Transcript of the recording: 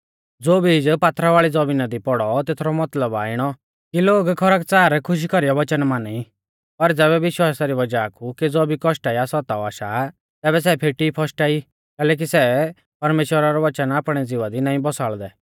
ज़ो बीज पथरीयाल़ी ज़मीना दि पौड़ौ तेथरौ मतलब आ इणौ कि लोग खरकच़ार खुशी कौरीऐ वच़न माना ई पर ज़ैबै विश्वासा री वज़ाह कु केज़ौ भी कौष्ट या सताव आशा तैबै सै फेटी फशटा ई कैलैकि सै परमेश्‍वरा रौ वच़न आपणै ज़िवा दी नाईं बसाल़दै